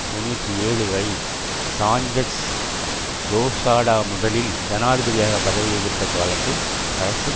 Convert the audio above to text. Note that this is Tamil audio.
தொன்னூற்றி ஏழு வரை சாஞ்செஸ் லோசாடா முதலில் ஜனாதிபதியாக பதவி வகித்த காலத்தில் அரசு